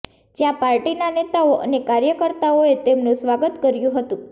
જ્યાં પાર્ટીના નેતાઓ અને કાર્યકર્તાઓએ તેમનું સ્વાગત કર્યું હતું